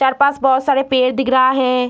चार पास बोहोत सारे पेड़ दिख रहा है।